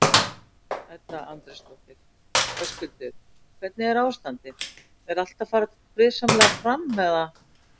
Edda Andrésdóttir: Höskuldur, hvernig er ástandið, er allt að fara friðsamlega fram eða?